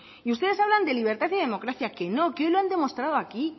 y ustedes hablan de libertad y de democracia que no que hoy lo han demostrado aquí